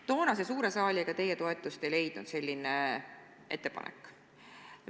Toonase suure saali ega teie toetust selline ettepanek ei leidnud.